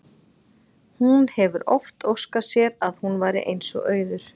Hún hefur oft óskað sér að hún væri eins og Auður.